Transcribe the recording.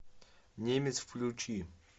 немец включи